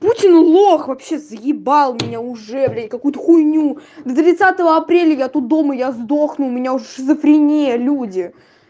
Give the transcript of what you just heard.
путин лох вообще заебал меня уже блин какую-то хуйню до тридцатого апреля я тут дома я сдохну у меня уже шизофрения люди